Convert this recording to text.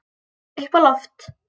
Upp á loft.